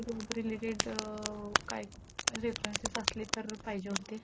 त्याचाशी related अं काय references असले तर पाहीजे होते.